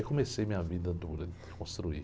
Aí comecei a minha vida dura de construir.